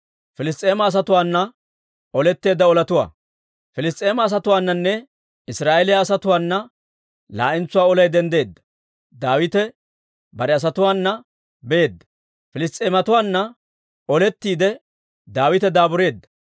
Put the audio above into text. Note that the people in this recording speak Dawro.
Piliss's'eema asatuwaananne Israa'eeliyaa asatuwaana laa'entsuwaa olay denddeedda; Daawite bare asatuwaana beedda. Piliss's'eematuwaanna olettiide Daawite daabureedda.